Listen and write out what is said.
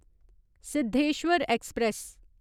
Siddheshwar express